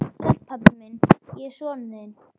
Sæll, pabbi minn, ég er sonur þinn.